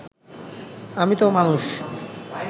আমি তো মানুষ